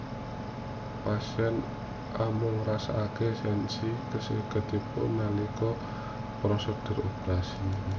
Pasien amung ngrasakaké sensasi kesemutan nalika prosedur operasi